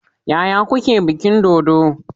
Yaya kuke bikin dodo?